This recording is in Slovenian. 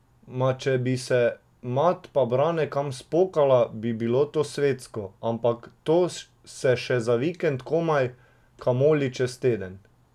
Ma, če bi se mat pa Brane kam spokala, to bi bilo svetsko, ampak to se še za vikend komaj, kamoli čez teden.